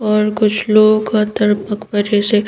और कुछ लोग कतर मकबरे से--